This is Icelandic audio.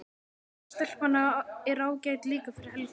Hin stelpan er ágæt líka fyrir Helga.